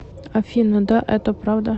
афина да это правда